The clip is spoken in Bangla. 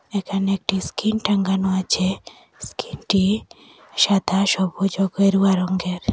এখানে একটি স্কিন টাঙ্গানো আছে স্কিনটি সাদা সবুজ ও গেরুয়া রঙ্গের।